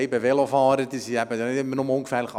Die Velofahrer sind halt nicht immer nur ungefährlich.